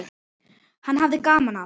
Hann hafði gaman af.